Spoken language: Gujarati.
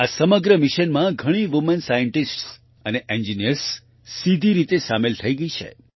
આ સમગ્ર મિશનમાં ઘણી વુમેન સાયન્ટિસ્ટ્સ અને ઇન્જિનિયર્સ સીધી રીતે સામેલ થઈ છે